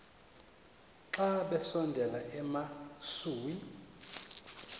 xa besondela emasuie